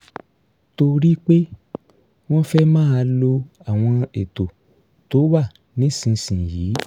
torí pé wọ́n fẹ́ máa lo àwọn ètò tó wà nísinsìnyí